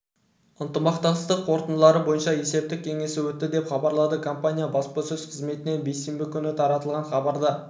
ынтымақтастық қорытындылары бойынша есептік кеңесі өтті деп хабарлады компания баспасөз қызметінен бейсенбі күні таратылған хабарда